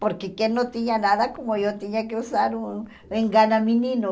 Porque quem não tinha nada, como eu, tinha que usar um engana-menino.